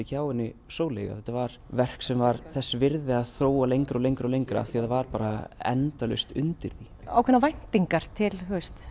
hjá henni Sóleyju að þetta var verk sem var þess virði að þróa lengra og lengra og lengra því það var bara endalaust undir því ákveðnar væntingar til